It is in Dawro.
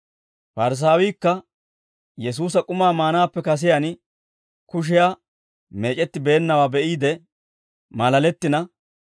Parisaawiikka Yesuusa k'umaa maanaappe kasiyaan kushiyaa meec'etti beennawaa be'iide maalalettina,